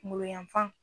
Kunkolo yanfan